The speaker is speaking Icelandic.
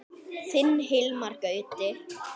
Þinn Hilmar Gauti.